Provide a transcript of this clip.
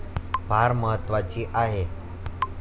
फार महत्वाची आहे.